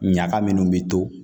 Ɲaga minnu bɛ to